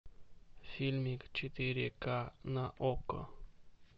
фильмик четыре ка на окко